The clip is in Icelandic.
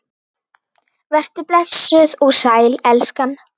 Vertu blessuð og sæl, elskan!